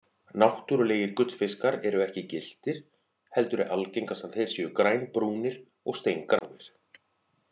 Náttúrulegir gullfiskar eru ekki gylltir heldur er algengast að þeir séu grænbrúnir og steingráir.